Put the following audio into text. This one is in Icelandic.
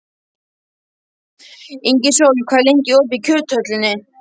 Ingisól, hvað er lengi opið í Kjöthöllinni?